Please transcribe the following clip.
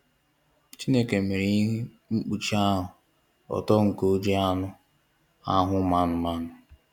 Chineke mere ihe mkpuchi ahụ ọtọ nke o ji anụ ahụ ụmụ anụmanụ.